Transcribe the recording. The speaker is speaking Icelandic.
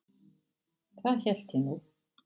Það hélt ég nú.